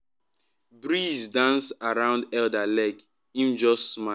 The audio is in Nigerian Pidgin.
breeze dance round elder leg — him just smile.